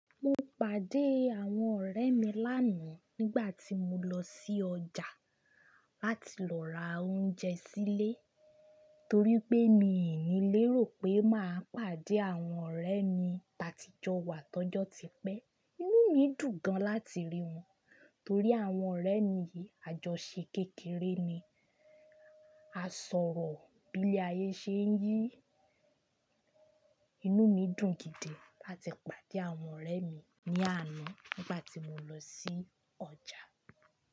Mo pàdé àwọn ọ̀rẹ́ mi lánàá nígbà tí mo lọ sí ọjà láti lọ ra oúnjẹ sílé nítorí pé mi ò lérò pé màá pàdé àwọn ọ̀rẹ́ mi táati jọ wà t'ọ́jọ́ ti pẹ. Inú mi dùn gan láti rí wọn, torí àwọn ọ̀rẹ́ mi ajọṣe kékeré ni. A sọ̀rọ̀ bí lé ayé ṣe ń yí. Inú mi dùn gidi láti pàdé àwọn ọ̀rẹ́ mi ní àná nígbà tí mo lọ sí ọjà.